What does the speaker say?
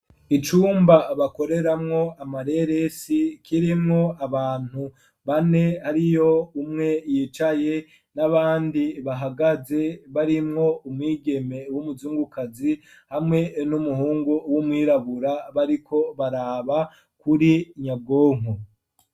Icumba bakoreramwo amareresi kirimwo abantu bane hari yo umwe yicaye, n'abandi bahagaze barimwo umwigeme w'umuzungukazi ,hamwe n'umuhungu w'umwirabura bariko baraba kuri nyabwonko.